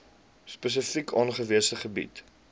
spesifiek aangewese gebiede